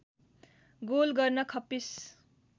goal गर्न खप्पिस